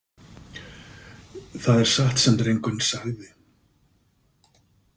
Það er satt sem drengurinn sagði.